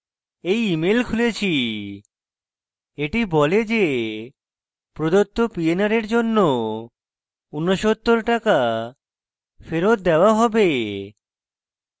এটি বলে যে প্রদত্ত pnr rs জন্য 69 টাকা ফেরৎ দেওয়া হবে